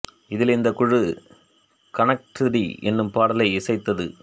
இதில் இந்தக் குழு கனெக்ட் த்ரீ என்னும் பாடலை இசைத்தது